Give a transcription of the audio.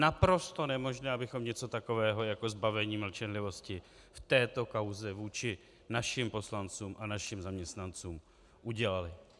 Naprosto nemožné, abychom něco takového jako zbavení mlčenlivosti v této kauze vůči našim poslancům a našim zaměstnancům udělali.